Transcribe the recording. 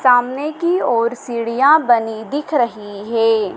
सामने की ओर सीढ़ियां बनी दिख रही है।